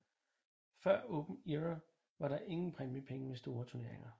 Før Open Era var der ingen præmiepenge ved store turneringer